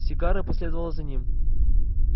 сигара последовала за ним